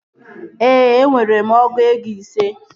Ee, enwere m ọgụ ego ise